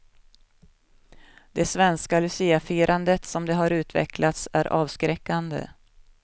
Det svenska luciafirandet som det har utvecklats är avskräckande.